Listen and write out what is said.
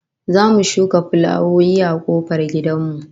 Za mu shuka fulawoyi a kofar gidan mu